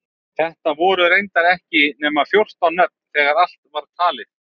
Þetta voru reyndar ekki nema fjórtán nöfn þegar allt var talið.